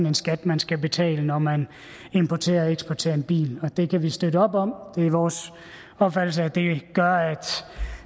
en skat man skal betale når man importerer og eksporterer en bil det kan vi støtte op om det er vores opfattelse at det gør at